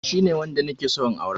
Shine wanda nike son in aura